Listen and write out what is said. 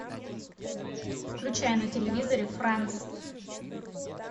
включай на телевизоре франс